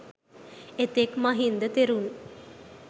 එතෙක් මහින්ද තෙරුන්